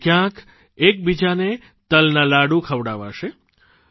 તો ક્યાંક એકબીજાને તલના લાડુ ખવડાવાશે